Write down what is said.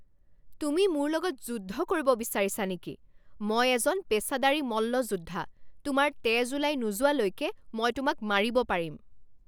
তুমি মোৰ লগত যুদ্ধ কৰিব বিচাৰিছা নেকি? মই এজন পেচাদাৰী মল্লযোদ্ধা! তোমাৰ তেজ ওলাই নোযোৱালৈকে মই তোমাক মাৰিব পাৰিম।